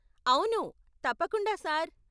అవును, తప్పకుండా సార్.